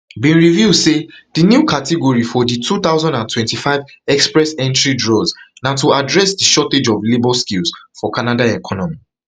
bin reveal say di new category for di two thousand and twenty-five express entry draws na to address di shortage of labour skills for canada economy